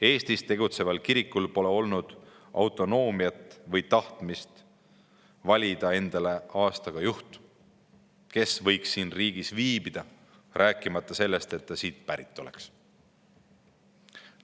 Eestis tegutseval kirikul pole olnud autonoomiat või tahtmist valida endale aastaga juht, kes võiks siin riigis viibida, rääkimata sellest, et ta siit pärit oleks.